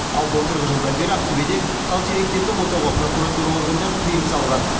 ал былтырғы жылдан бері ақтөбеде тал теректерді отауға прокуратура органдары тыйым салған